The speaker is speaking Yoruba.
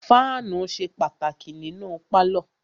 Fáànù ṣe pàtàkì nínú pálọ̀.